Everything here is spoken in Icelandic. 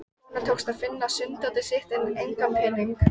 Honum tókst að finna sunddótið sitt en enga peninga.